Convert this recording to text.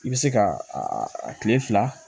I bɛ se ka a tile fila